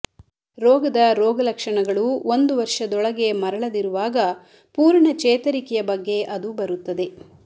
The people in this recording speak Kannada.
ರೋಗದ ರೋಗಲಕ್ಷಣಗಳು ಒಂದು ವರ್ಷದೊಳಗೆ ಮರಳದಿರುವಾಗ ಪೂರ್ಣ ಚೇತರಿಕೆಯ ಬಗ್ಗೆ ಅದು ಬರುತ್ತದೆ